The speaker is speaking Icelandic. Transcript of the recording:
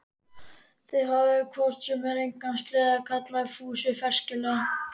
Þið hafið hvort sem er engan sleða, kallaði Fúsi frekjulega.